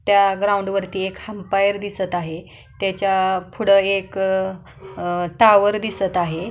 त्या ग्राउंड वरती एक एम्पायर दिसत आहे त्याच्या पुढे एक अ टॉवर दिसत आहेत.